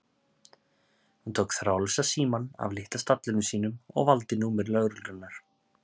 Hún tók þráðlausa símann af litla stallinum sínum og valdi númer lögreglunnar.